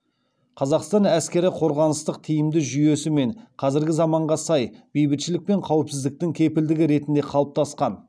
қазақстан әскері қорғаныстық тиімді жүйесі мен қазіргі заманға сай бейбітшілік пен қауіпсіздіктің кепілдігі ретінде қалыптасқан